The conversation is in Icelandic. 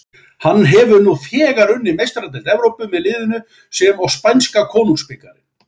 Hann hefur nú þegar unnið Meistaradeild Evrópu með liðinu sem og spænska konungsbikarinn.